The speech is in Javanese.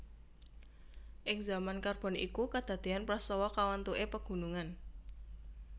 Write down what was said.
Ing zaman Karbon iku kadadéyan prastawa kawentuké pegunungan